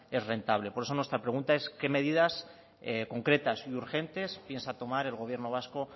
es rentable por eso nuestra pregunta es qué medidas concretas y urgentes piensa tomar el gobierno vasco